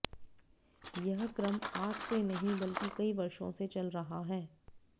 यह क्रम आज से नहीं बल्कि कई वर्षो से चल रहा है